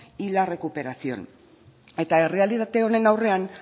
y la recuperación eta errealitate honen aurrean